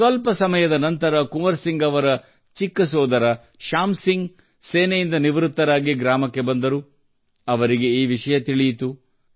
ಸ್ವಲ್ಪ ಸಮಯದ ನಂತರ ಕುವರ್ ಸಿಂಗ್ ಅವರ ಚಿಕ್ಕ ಸೋದರ ಶ್ಯಾಂ ಸಿಂಗ್ ಅವರು ಸೇನೆಯಿಂದ ನಿವೃತ್ತರಾಗಿ ಗ್ರಾಮಕ್ಕೆ ಬಂದರು ಅವರಿಗೆ ಈ ವಿಷಯ ತಿಳಿಯಿತು